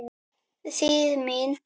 Þýð. mín.